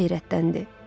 Qız heyrətləndi.